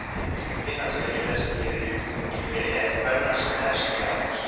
Vináttuleikir þessir eru liður í undirbúningi fyrir EM kvenna sem hefst í ágúst.